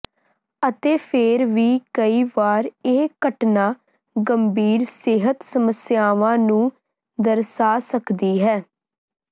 ਅਤੇ ਫਿਰ ਵੀ ਕਈ ਵਾਰ ਇਹ ਘਟਨਾ ਗੰਭੀਰ ਸਿਹਤ ਸਮੱਸਿਆਵਾਂ ਨੂੰ ਦਰਸਾ ਸਕਦੀ ਹੈ